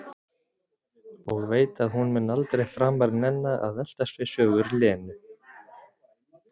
Og veit að hún mun aldrei framar nenna að eltast við sögur Lenu.